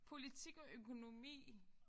Politik og økonomi!